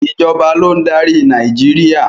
Ìjọba ló ń darí Nàìjíríà.